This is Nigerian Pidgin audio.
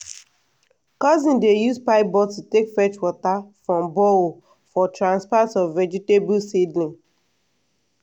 cousins dey use pipe bottle take fetch water from borehole for transplant of vegetable seedling.